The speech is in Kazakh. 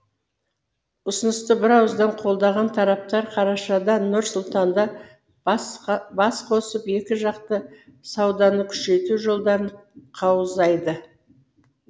ұсынысты бірауыздан қолдаған тараптар қарашада нұр сұлтанда басқосып екіжақты сауданы күшейту жолдарын қаузайды